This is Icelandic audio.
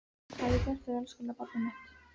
Hvað hef ég gert þér elskulega barnið mitt?